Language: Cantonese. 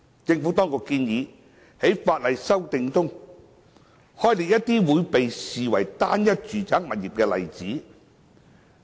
政府當局建議在修訂法案中，開列一些會被視為"單一"住宅物業的例子。